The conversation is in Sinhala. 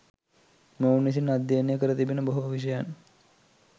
මොවුන් විසින් අධ්‍යයනය කර තිබෙන බොහෝ විෂයන්